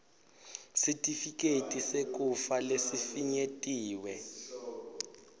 sitifiketi sekufa lesifinyetiwe